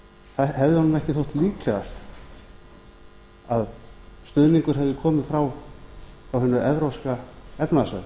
hefði honum ekki þótt líklegast að stuðningur hefði komið frá hinu evrópska efnahagssvæði